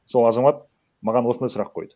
сол азамат маған осындай сұрақ қойды